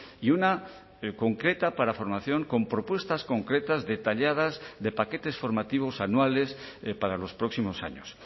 y una concreta para formación con propuestas concretas detalladas de paquetes formativos anuales para los próximos años